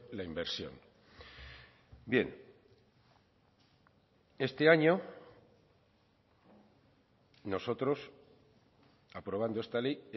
la inversión bien este año nosotros aprobando esta ley